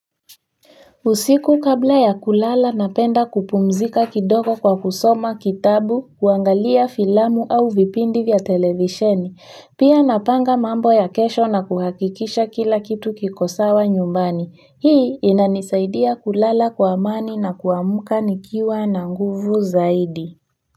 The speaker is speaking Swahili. Usiku kabla ya kulala napenda kupumzika kidogo kwa kusoma kitabu, kuangalia filamu au vipindi vya televisheni. Pia napanga mambo ya kesho na kuhakikisha kila kitu kikosawa nyumbani. Hii inanisaidia kulala kwa amani na kuamka nikiwa na nguvu zaidi.